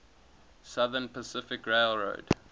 southern pacific railroad